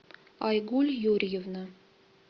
айгуль юрьевна